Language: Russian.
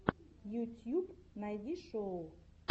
ютьюб найди шоу